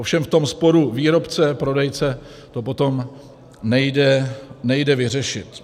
Ovšem v tom sporu výrobce - prodejce to potom nejde vyřešit.